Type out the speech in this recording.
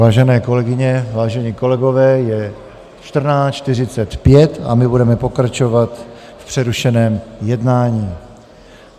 Vážené kolegyně, vážení kolegové, je 14.45 a my budeme pokračovat v přerušeném jednání.